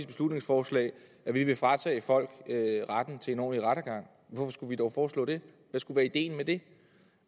beslutningsforslag at vi vil fratage folk retten til en ordentlig rettergang hvorfor skulle vi dog foreslå det hvad skulle være ideen med det